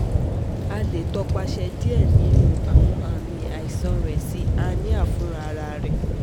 A le topase die ninu awọn aami aisan rẹ si anemia funrararẹ